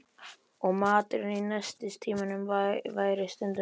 Og maturinn í nestistímunum væri stundum eldri.